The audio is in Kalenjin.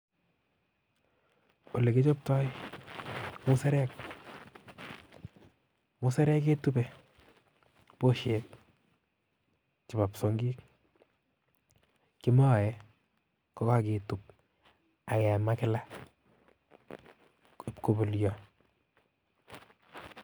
Ole kichoptoi musarek, musarek ketube buishek kimoe koketub ak kemaa kila koruryoo